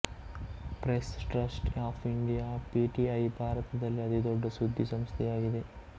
press trust of India PTI ಭಾರತದಲ್ಲಿ ಅತಿ ದೊಡ್ಡ ಸುದ್ದಿ ಸಂಸ್ಥೆಯಾಗಿದೆ